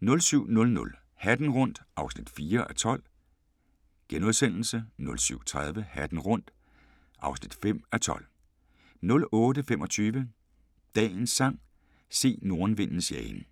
07:00: Hatten rundt (4:12)* 07:30: Hatten rundt (5:12) 08:25: Dagens sang: Se nordenvindens jagen